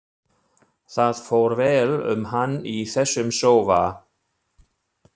Það fór vel um hann í þessum sófa.